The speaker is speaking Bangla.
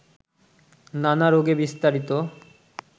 নানা রাগে বিস্তারিত